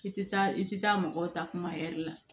I tɛ taa i tɛ taa mɔgɔw ta kuma ɛri la